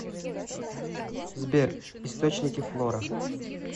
сбер источники флора